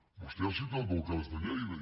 vostè ha citat el cas de lleida